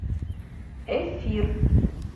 эфир